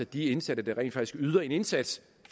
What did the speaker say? de indsatte der rent faktisk yder en indsats